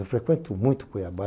Eu frequento muito Cuiabá.